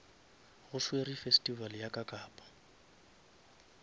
go swerwe festival ya kakapa